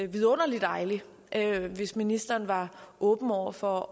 vidunderlig dejligt hvis ministeren var åben over for